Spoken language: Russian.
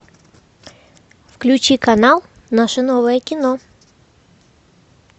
включи канал наше новое кино